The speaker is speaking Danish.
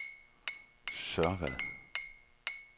Sørvad